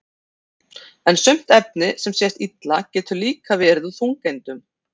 en sumt efni sem sést illa getur líka verið úr þungeindum